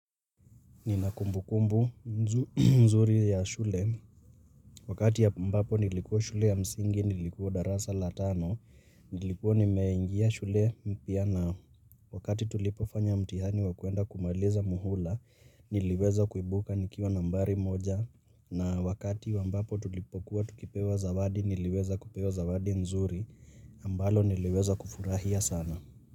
Nina kumbukumbu mzuri ya shule, wakati ambapo nilikuwa shule ya msingi, nilikuwa darasa la tano, nilikuwa nimeingia shule mpya na, wakati tulipofanya mtihani wa kuenda kumaliza muhula, niliweza kuibuka nikiwa nambari moja, na wakati ambapo tulipokuwa tukipewa zawadi, niliweza kupewa zawadi nzuri, ambalo niliweza kufurahia sana.